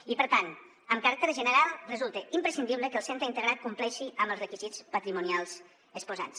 i per tant amb caràcter general resulta imprescindible que el centre integrat compleixi amb els requisits patrimonials exposats